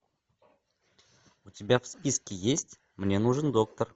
у тебя в списке есть мне нужен доктор